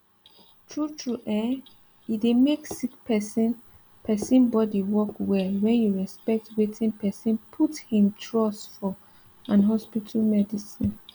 true true eh e dey make sick person person body work well wen you respect wetin person put him trust for and hospital medicine